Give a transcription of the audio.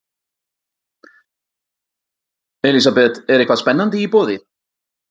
Elísabet, er eitthvað spennandi í boði?